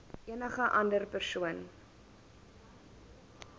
enige ander persoon